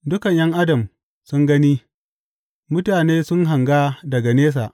Dukan ’yan adam sun gani; mutane sun hanga daga nesa.